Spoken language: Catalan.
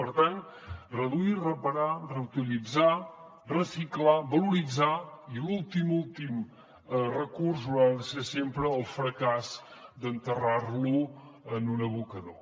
per tant reduir reparar reutilitzar reciclar valoritzar i l’últim últim recurs haurà de ser sempre el fracàs d’enterrar lo en un abocador